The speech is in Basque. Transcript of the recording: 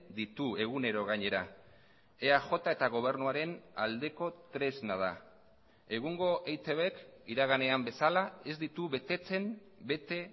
ditu egunero gainera eaj eta gobernuaren aldeko tresna da egungo eitbk iraganean bezala ez ditu betetzen bete